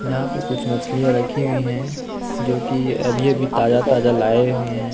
यहाँ पे कुछ मछलीया रखी हुई हैं जो कि अभी अभी ताजा ताजा लाये हुए हैं।